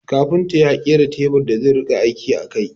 Kafinta ya kera teburin da zai rika aiki a kai